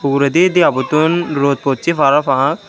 uredi deabottun rot possey parapang.